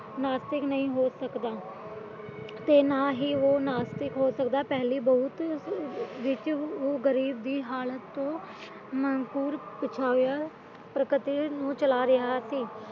ਨਾਸਤਿਕ ਨਹੀਂ ਹੋ ਸਕਦਾ ਤੇ ਨਾ ਹੀ ਉਹ ਨਾਸਤਿਕ ਹੋ ਸਕਦਾ ਪਹਿਲੀ ਬਾਤ ਉਹ ਗਰੀਬ ਦੀ ਹਾਲਤ ਤੋਂ ਨਾਕੁਰ ਪੁਛਾਇਆ ਪ੍ਰਕ੍ਰਿਤੀ ਨੂੰ ਚਲਾ ਰਿਹਾ ਸੀ